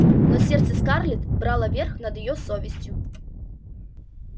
но сердце скарлетт брало верх над её совестью